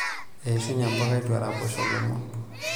Eishunye mpuka eitu eraposho lomon.